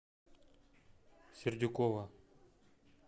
сердюкова